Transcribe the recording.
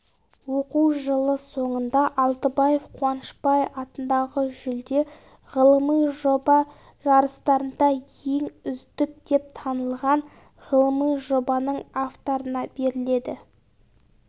оқу жылы соңында алтыбаев қуанышбай атындағы жүлде ғылыми жоба жарыстарында ең үздік деп танылған ғылыми жобаның авторына беріледі